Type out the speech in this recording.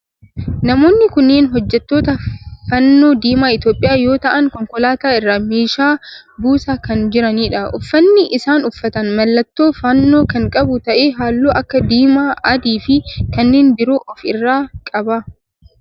Namoonni kunneen hojjettoota fannoo diimaa Itiyoophiyaa yoo ta'aan konkolaataa irraa meeshaa buusaa kan jiranidha. Uffanni isaan uffatan mallattoo fannoo kan qabu ta'ee halluu akka diimaa, adii fi kanneen biroo of irraa qaba.